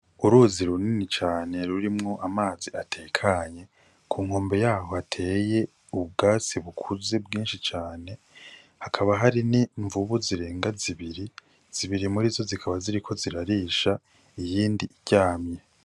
Uruzi runini cane rurimwo amazi atekanye, ku nkombe y'aho hateye ubwatsi bukuze bwinshi cane. Hakaba hari n'imvubu zirenga zibiri, zibiri murizo zikaba ziriko zirarisha iyindi iryamye.